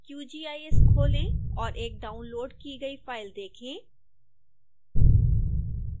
qgis खोलें और एक डाउनलोड़ की गई फाइल देखें